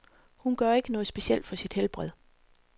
Hun gør ikke noget specielt for sit helbred.